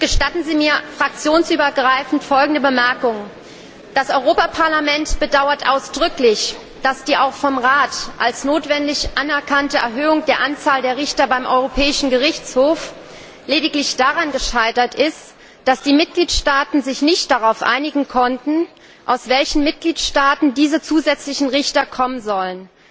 Gestatten Sie mir fraktionsübergreifend folgende Bemerkung Das Europaparlament bedauert ausdrücklich, dass die auch vom Rat als notwendig anerkannte Erhöhung der Anzahl der Richter beim Europäischen Gerichtshof lediglich daran gescheitert ist, dass die Mitgliedstaaten sich nicht darauf einigen konnten, aus welchen Mitgliedstaaten diese zusätzlichen Richter kommen sollen.